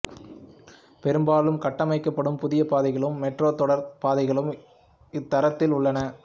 பெரும்பாலும் கட்டமைக்கப்படும் புதிய பாதைகளும் மெட்ரோ தொடருந்துப் பாதைகளும் இத்தரத்தில் உள்ளன